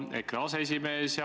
Muudatusettepanekust.